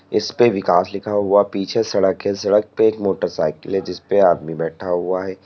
इसपे विकास लिखा हुआ पीछे सड़क है सड़क पर एक मोटरसाइकल है जिस पर आदमी बैठा हुआ है।